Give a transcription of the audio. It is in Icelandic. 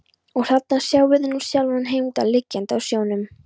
Og þarna sjáið þið nú sjálfan Heimdall liggjandi á sjónum.